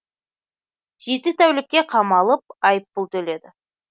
жеті тәулікке қамалып айыппұл төледі